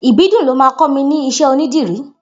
Ibidun ló mà kọ mi ni iṣẹ ónìdìrí